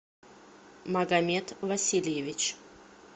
магомед васильевич